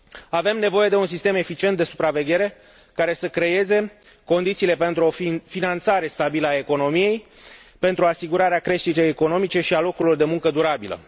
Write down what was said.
Avem nevoie de un sistem eficient de supraveghere, care să creeze condițiile pentru o finanțare stabilă a economiei, pentru asigurarea creșterii economice și a locurilor de muncă, durabile.